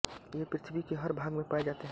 ये पृथ्वी के हर भाग में पाए जाते हैं